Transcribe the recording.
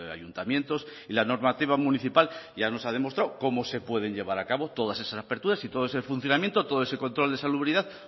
ayuntamientos y la normativa municipal ya nos ha demostrado cómo se pueden llevar a cabo todas esas aperturas y todo ese funcionamiento todo ese control de salubridad